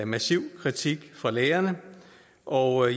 massiv kritik fra lærerne og